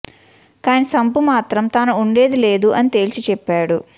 కాని సంపూ మాత్రం తాను ఉండేది లేదు అని తేల్చి చెప్పాడు